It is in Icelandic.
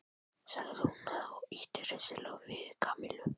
sagði hún og ýtti hressilega við Kamillu.